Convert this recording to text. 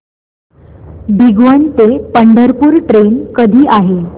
भिगवण ते पंढरपूर ट्रेन कधी आहे